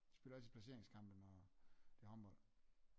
De spiller altid placeringskampe når det er håndbold